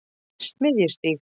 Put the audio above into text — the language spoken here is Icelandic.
Smiðjustíg